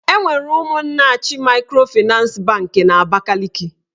Enwere Ụmụnnachi maịkrofịnans banki n'Abakaliki.